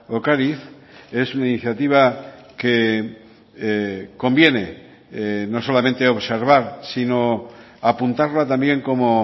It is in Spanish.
ocariz es una iniciativa que conviene no solamente observar sino apuntarla también como